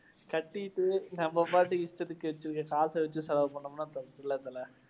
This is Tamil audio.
கட்டிட்டு நம்ப பாட்டுக்கு இஷ்டத்துக்கு காசை வெச்சு செலவு பண்ணோம்னா தல.